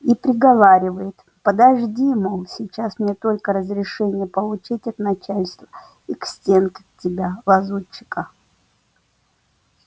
и приговаривает подожди мол сейчас мне только разрешение получить от начальства и к стенке тебя лазутчика